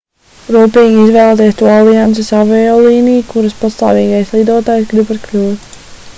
rūpīgi izvēlieties to alianses aviolīniju kuras pastāvīgais lidotājs gribat kļūt